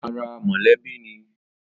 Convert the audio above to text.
Ara mọlẹbi ni